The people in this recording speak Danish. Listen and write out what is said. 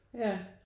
Ja